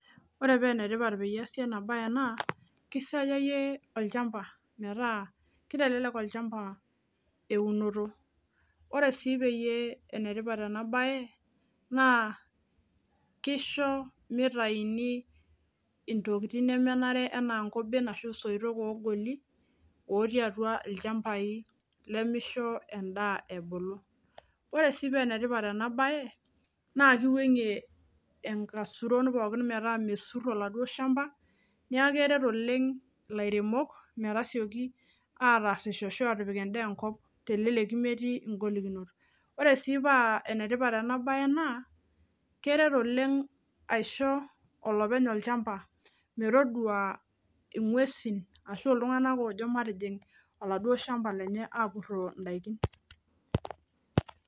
Oree paa enetipat pee eesi ena bae naa kisayayie olchamba metaa kitelelek olchamba eunoto Ore sii pee enitipat ena bae naa kisho kitaini intokitin nemenare ena nkoben osoitok ogolo ooti atua olchamba lemisho edaa ebulu. Ore sii paa emetipat ena bae naa kiwangie inaisuron pookin metaa mesur oladuo shamba neeku keret oleng’ ilairemok metasioki apik edaa enkop meeti igolikinot. Oree siii paa enetiiat ena bae naa keret oleng’ aisho olopeny olchamba metodua inguesin ashu iltung’anak lojo matijing olchamba apuro idaikin